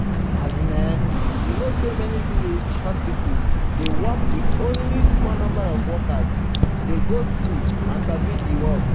as in[um]you know say many willage hospital dey work with only small number of workers dey go school and sabi di work.